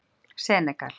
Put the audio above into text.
Senegal